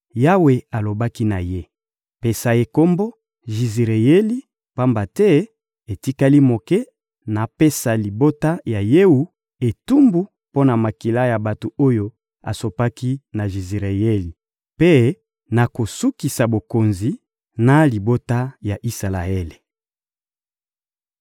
Yawe alobaki na ye: — Pesa ye kombo Jizireyeli, pamba te etikali moke napesa libota ya Jewu etumbu mpo na makila ya bato oyo asopaki na Jizireyeli, mpe nakosukisa bokonzi, na libota ya Isalaele.